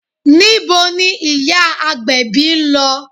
Níbo ni ìyá agbèbí ń lọ?